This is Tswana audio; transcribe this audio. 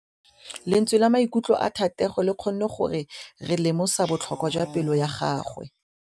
Lentswe la maikutlo a Thategô le kgonne gore re lemosa botlhoko jwa pelô ya gagwe.